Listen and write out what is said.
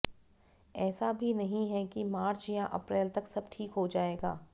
ऐसा भी नहीं है कि मार्च या अप्रैल तक सब ठीक हो जाएगा